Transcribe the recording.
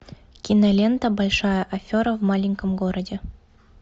кинолента большая афера в маленьком городе